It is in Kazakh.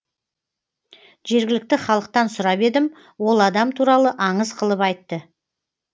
жергілікті халықтан сұрап едім ол адам туралы аңыз қылып айтты